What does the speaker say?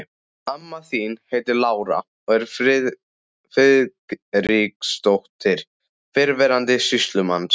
Amma þín heitir Lára og er Friðriksdóttir, fyrrverandi sýslumanns.